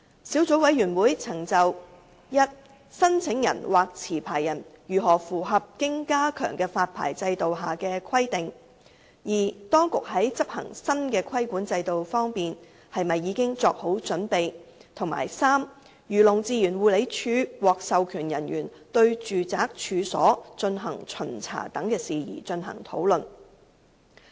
小組委員會曾就 i 申請人或持牌人如何符合經加強的發牌制度下的規定，當局在執行新的規管制度方面是否已經作好準備；及漁農自然護理署獲授權人員對住宅處所進行巡查等事宜，進行討論。